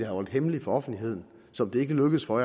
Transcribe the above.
holdt hemmeligt for offentligheden som ikke lykkedes for